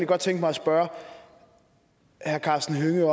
godt tænke mig at spørge herre karsten hønge